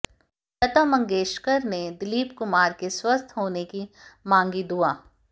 लता मंगेशकर ने दिलीप कुमार के स्वस्थ होने की मांगी दुआ